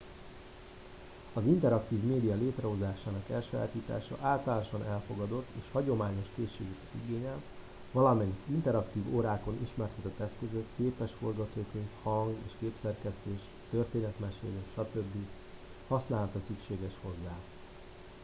az interaktív média létrehozásának elsajátítása általánosan elfogadott és hagyományos készségeket igényel valamint interaktív órákon ismertetett eszközök képes forgatókönyv hang- és képszerkesztés történetmesélés stb. használata szükséges hozzá